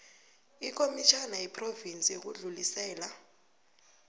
ikomitjhana yephrovinsi yokudlulisela